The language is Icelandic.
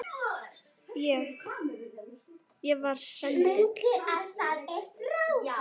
Ég. ég var sendill